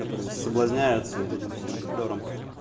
которые соблазняются вот этим всем флёром